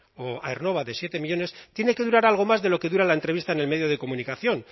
o aernnova de siete millónes tiene que durar algo más de lo que dura la entrevista en el medio de comunicación